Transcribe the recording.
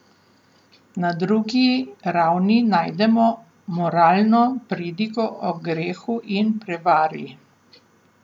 Na drugi ravni najdemo moralno pridigo o grehu in prevari.